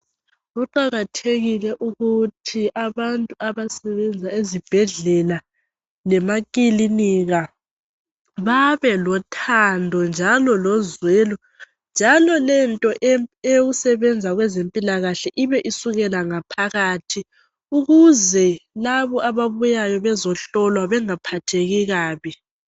Kuqakathekile ukuthi abantu abasebenza ezibhedlela lemakilinika babelothando njalo lozwelo njalo lento eyokusebenza kwezempilakahle ibe isukela ngaphakathi ukuze labo ababuyayo bezohlolwa bengaphatheki kabi.